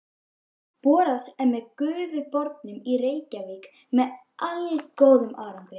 Borað með Gufubornum í Reykjavík með allgóðum árangri.